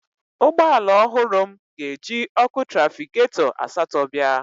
Ụgbọ ala ọhụrụ m ga-eji ọkụ trafịgatọ asatọ bịa